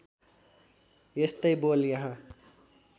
यस्तै बोल यहाँ